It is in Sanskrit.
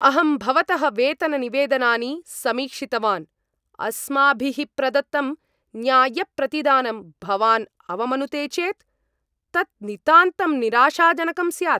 अहं भवतः वेतननिवेदनानि समीक्षितवान्, अस्माभिः प्रदत्तं न्याय्यप्रतिदानं भवान् अवमनुते चेत् तत् नितान्तं निराशाजनकं स्यात्।